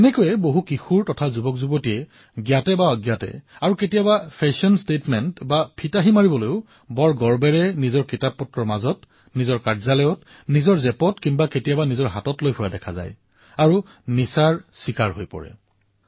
এনে অৱস্থাত বহু কিশোৰ আৰু যুৱচামে নজনাকৈয়ে আৰু কেতিয়াবা ফেশ্বনৰ বাবে গৌৰৱেৰে নিজৰ কিতাপৰ মাজত কাৰ্যালয়ত নিজৰ জেপত আৰু কেতিয়াবা কেতিয়াব হাতত লৈ ঘুৰি ফুৰা দেখা যায় আৰু ইয়াৰ চিকাৰ হৈ পৰে